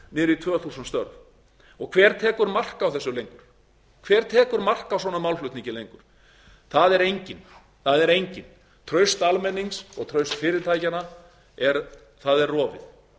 niður í tvö þúsund störf hver tekur mark á þessu lengur hver tekur mark á svona málflutningi lengur það er enginn traust almennings og traust fyrirtækjanna er